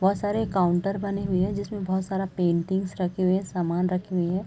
बहोत सारे काउंटर बने हुए है जिसमे बहुत सारा पेंटिंग्स रखे हुए सामान रखे हुए हैं ।